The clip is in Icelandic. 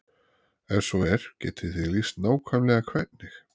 Ef svo er, getið þið lýst nákvæmlega hvernig?